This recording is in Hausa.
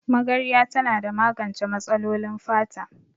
Magarya tana da magance matsalolin fata